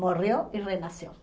Morreu e renasceu.